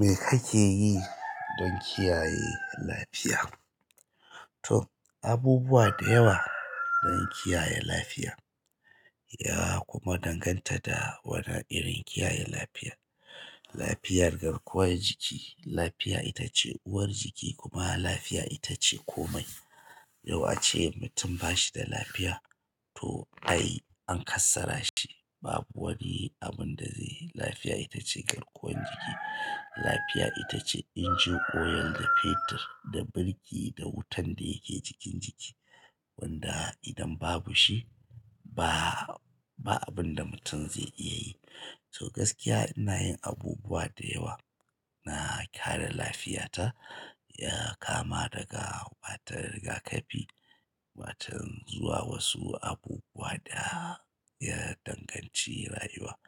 Me kake yi don kiyaye lafiya? To abubuwa da yawa don kiyaye lafiya, ya kuma danganta da wane irin kiyaye lafiya. Lafiyar garkuwar jiki, lafiya ita ce uwar jiki kuma lafiya ita ce komai. Yau ace mutum ba shi da lafiya to ai an kassara shi, babu wani abun da zai yi. Lafiya ita ce garkuwar jiki. Lafiya ita ce engine oil da fetur da birki da wutan da yake jikin jiki wanda idan babu shi ba, ba abun da mutum zai iya yi. So gaskiya ina yin abubuwa da yawa na kare lafiyata, ya kama daga ba ta rigakafi, ba ta zuwa wasu abubuwa da ya danganci rayuwa.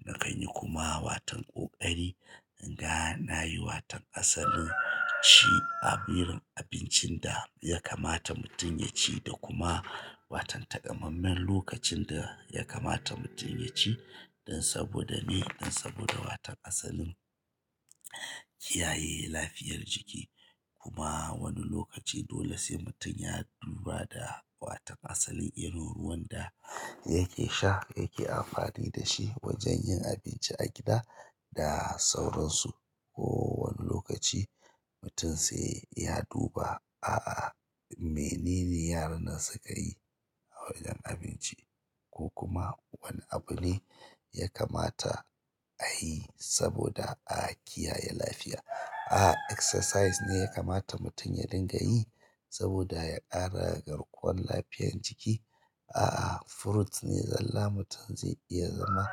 Na kan yi kuma watan ƙoƙari, in ga na yi waton asalin ci abirin abincin da ya kamata mutum ya ci da kuma watan takammamen lokacin da ya kamata mutum ya ci dan saboda ni, dan saboda watan asalin kiyaye lafiyar jiki. Kuma wani lokaci dole sai mutum ya duba da watan asalin irin ruwan da yake sha, yake amfani da shi wajen yin abinci a gida da sauransu. Ko wani lokaci mutum sai ya duba, a'a me nene yaran nan suka yi a wajen abinci, ko kuma wane abu ne ya kamata a yi saboda a kiyaye lafiya. A exercise ne ya kamata mutum ya dinga yi saboda ya ƙara garkuwan lafiyan jiki a a'a fruits ne zalla mutum zai iya zama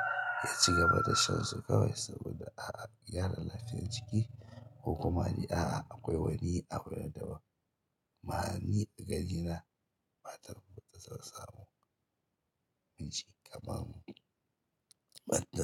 ya ci gaba da shan su kawai saboda a a gyara lafiyar jiki ko kuma dai a a akwai wani abu na daban amma ni a gani na bata ku son samu inda kaman batda.